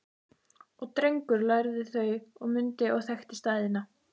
Og Drengur lærði þau og mundi og þekkti staðina